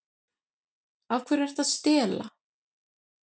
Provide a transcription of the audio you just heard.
Af hverju ertu að stela?